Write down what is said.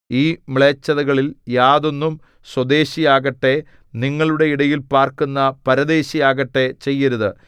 ഈ മ്ലേച്ഛതകളിൽ യാതൊന്നും സ്വദേശിയാകട്ടെ നിങ്ങളുടെ ഇടയിൽ പാർക്കുന്ന പരദേശിയാകട്ടെ ചെയ്യരുത്